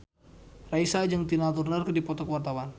Raisa jeung Tina Turner keur dipoto ku wartawan